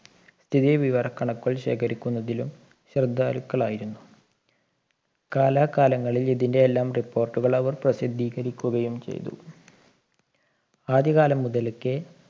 സ്ഥിതി വിവരക്കണക്കുകൾ ശേഖരിക്കുന്നതിലും ശ്രദ്ധാലുക്കളായിരുന്നു കാലാകാലങ്ങളിൽ ഇതിൻറെയെല്ലാം report കൾ അവർ പ്രസിദ്ധീകരിക്കുകയും ചെയ്തു ആദ്യ കാലം മുതൽക്കേ